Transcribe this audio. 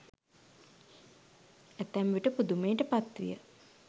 ඇතැම්විට පුදුමයට පත්විය.